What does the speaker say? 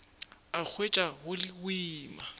a hwetša go le boima